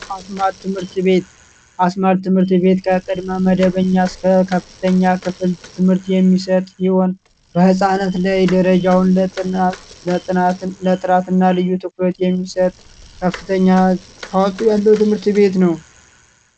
አዝማድ ትምህርት ቤት አስመልክ ትምህርት ቤት መደበኛ እስከ ከፍተኛ ክፍል ትምህርት የሚሰጥ ይሆን በፃናት ላይ ደረጃውን 98 እና ልዩ ትኩረት የሚሰጥ ከፍተኛ ትምህርት ቤት ነው